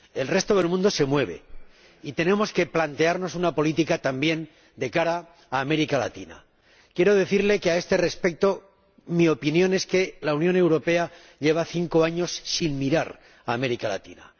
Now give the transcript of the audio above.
El resto del mundo se mueve, y tenemos que plantearnos una política también de cara a América Latina. Quiero decirle que, a este respecto, mi opinión es que la Unión Europea lleva cinco años sin mirar a América Latina.